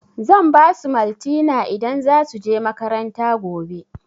Zan basu maltina idan za su je makaranta gobe